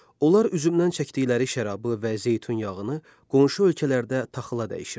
Onlar üzümdən çəkdiyi şərabı və zeytun yağını qonşu ölkələrdə taxıla dəyişirdilər.